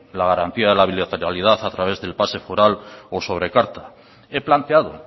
la garantía de la bilateralidad a través del pase foral o sobrecarta he planteado